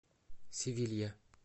севилья